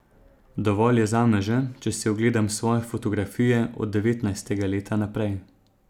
Dovolj je zame že, če si ogledam svoje fotografije od devetnajstega leta naprej.